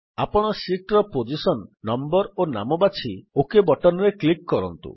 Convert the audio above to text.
ଆପଣ ଶୀଟ୍ ର position number ଓ ନାମ ବାଛି ଓକ୍ ବଟନ୍ ରେ କ୍ଲିକ୍ କରନ୍ତୁ